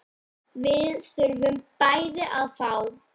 Við þurfum bæði að fá.